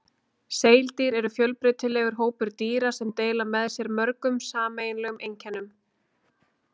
Seildýr eru fjölbreytilegur hópur dýra sem deila með sér mörgum sameiginlegum einkennum.